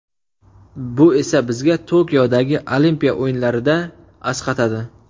Bu esa bizga Tokiodagi Olimpiya o‘yinlarida asqatadi.